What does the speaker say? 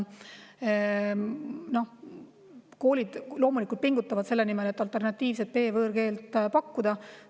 Koolid loomulikult pingutavad selle nimel, et alternatiivset B-võõrkeelt pakkuda.